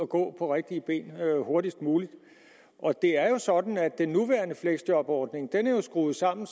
gå på rigtige ben hurtigst muligt det er jo sådan at den nuværende fleksjobordning er skruet sådan